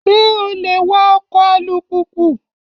Ṣé o lè wa ọkọ̀ alùpùpù?